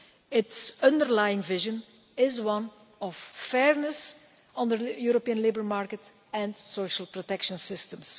Its underlying vision is one of fairness on the European labour market and social protection systems.